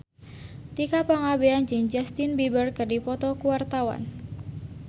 Tika Pangabean jeung Justin Beiber keur dipoto ku wartawan